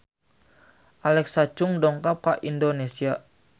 Alexa Chung dongkap ka Indonesia